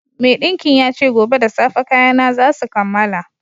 Maiɗinkin ya ce gobe da safe kayana za su kammala